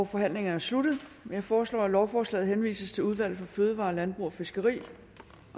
forhandlingen er sluttet jeg foreslår at lovforslaget henvises til udvalget for fødevarer landbrug og fiskeri